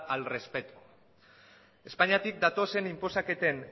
al respeto espainiatik datozen inposaketen